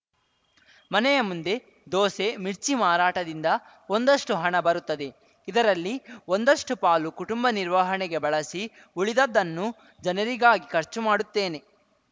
ಮನೆಯ ಮುಂದೆ ದೋಸೆ ಮಿರ್ಚಿ ಮಾರಾಟದಿಂದ ಒಂದಷ್ಟುಹಣ ಬರುತ್ತದೆ ಇದರಲ್ಲಿ ಒಂದಷ್ಟುಪಾಲು ಕುಟುಂಬ ನಿರ್ವಹಣೆಗೆ ಬಳಸಿ ಉಳಿದದ್ದನ್ನು ಜನರಿಗಾಗಿ ಖರ್ಚು ಮಾಡುತ್ತೇನೆ